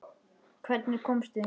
Hvernig komstu hingað?